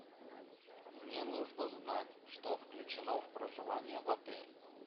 мне нужно знать что включено в проживание в отеле